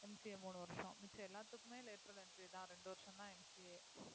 MCA மூணு வருஷம் மிச்ச எல்லாத்துக்குமே lateral entry தான் ரெண்டு வருஷம்தான் MCA